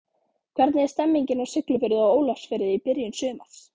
Hvernig er stemmingin á Siglufirði og Ólafsfirði í byrjun sumars?